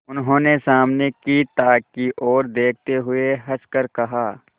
उन्होंने सामने की ताक की ओर देखते हुए हंसकर कहा